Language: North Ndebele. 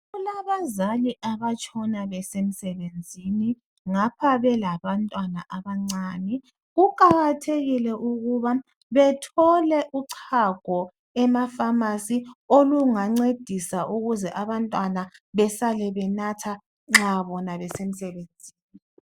Kulabazali abatshona besemsebenzini ngapha belabantwana abancane . Kuqakathekile ukuba bethole uchago emapharmacy olungancedisa ukuze abantwana besale benatha nxa bona besemsebenzini.